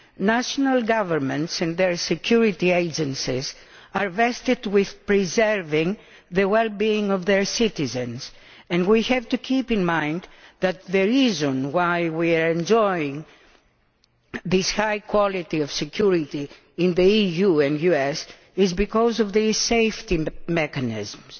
National governments and their security agencies are vested with preserving the well being of their citizens, and we have to bear in mind the fact that the reason why we enjoy this high quality of security in the EU and US is because of these safety mechanisms.